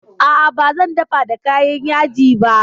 A'a ba zan dafa da kayan yaji ba